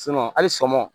hali sɔgɔma